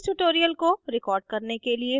इस tutorial को record करने के लिए मैं उपयोग का रही हूँ